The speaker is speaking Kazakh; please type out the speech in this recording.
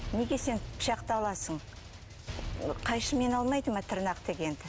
неге сен пышақты аласың қайшымен алмайды ма тырнақ дегенді